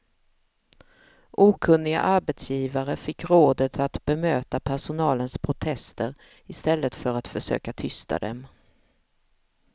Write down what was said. Okunniga arbetsgivare fick rådet att bemöta personalens protester i stället för att försöka tysta dem.